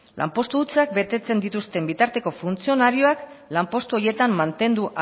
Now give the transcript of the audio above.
lanpostu hutsak betetzen dituzten bitarteko funtzionarioak lanpostu horietan mantendu